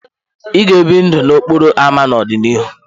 Ị ga-ebi ndụ n'okporo ámá n'ọdịnihu?